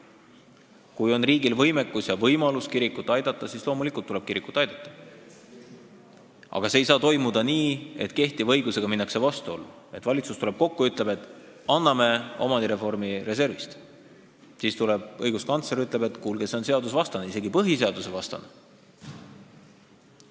Kui on riigil võimekus ja võimalus kirikuid aidata, siis loomulikult tuleb kirikuid aidata, aga see ei saa toimuda nii, et kehtiva õigusega minnakse vastuollu, et valitsus tuleb kokku ja ütleb, et anname omandireformi reservist, siis aga tuleb õiguskantsler ja ütleb, et kuulge, see on seadusvastane ja isegi põhiseadusvastane.